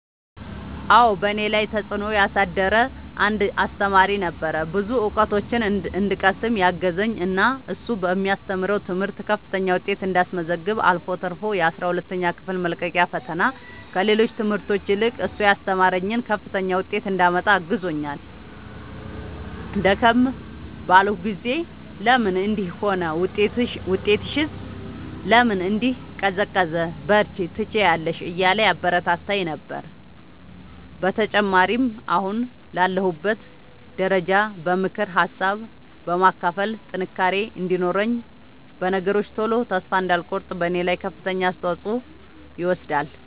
አዎ በእኔ ላይ ተፅእኖ ያሳደረ አንድ አሰተማሪ ነበረ። ብዙ እውቀቶችን እንድቀስም ያገዘኝ እና እሱ በሚያስተምረው ትምህርት ከፍተኛ ውጤት እንዳስመዘግብ አልፎ ተርፎ የአስራ ሁለተኛ ክፍል መልቀቂያ ፈተና ከሌሎች ትምህርቶች ይልቅ እሱ ያስተማረኝን ከፍተኛ ውጤት እንዳመጣ አግዞኛል። ደከም ባልኩ ጊዜ ለምን እንዲህ ሆነ ውጤትሽስ ለምን እንዲህ ቀዘቀዘ በርቺ ትችያለሽ እያለ ያበረታታኝ ነበረ። በተጨማሪም አሁን ላለሁበት ደረጃ በምክር ሀሳብ በማካፈል ጥንካሬ እንዲኖረኝ በነገሮች ቶሎ ተስፋ እንዳልቆርጥ በኔ ላይ ከፍተኛውን አስተዋፅኦ ይወስዳል።